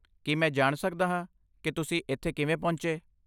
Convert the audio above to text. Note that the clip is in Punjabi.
ਕੀ ਮੈਂ ਜਾਣ ਸਕਦਾ ਹਾਂ ਕਿ ਤੁਸੀਂ ਇੱਥੇ ਕਿਵੇਂ ਪਹੁੰਚੇ?